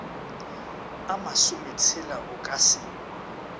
a masometshela o ka se